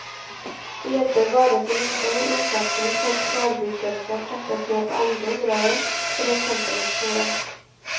Det hjelper bare så lite når innsatsen for forebyggelse trappes ned på andre områder, for eksempel i skolen.